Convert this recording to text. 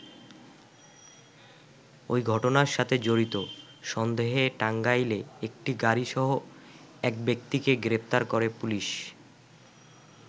ওই ঘটনার সাথে জড়িত সন্দেহে টাঙ্গাইলে একটি গাড়িসহ এক ব্যক্তিকে গ্রেপ্তার করে পুলিশ।